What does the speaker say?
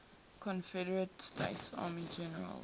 confederate states army generals